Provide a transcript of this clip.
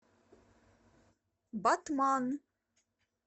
батман